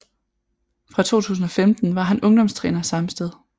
Fra 2015 var han ungdomstræner samme sted